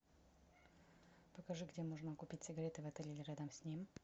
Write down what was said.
покажи где можно купить сигареты в отеле или рядом с ним